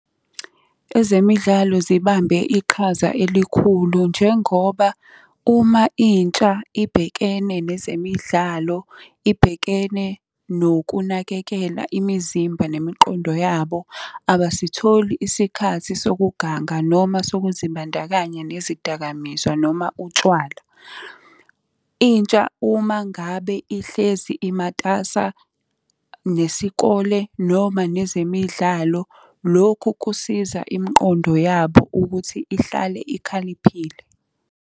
Ezemidlalo zibambe iqhaza elikhulu njengoba, uma intsha ibhekene nezemidlalo, ibhekene nokunakekela imizimba nemiqondo yabo abasitholi isikhathi sokuganga noma sokuzibandakanya nezidakamizwa noma utshwala. Intsha uma ngabe ihlezi imatasa nesikole noma nezemidlalo, lokhu kusiza imiqondo yabo ukuthi ihlale ikhaliphile.